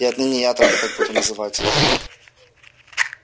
и отныне я только так буду называть его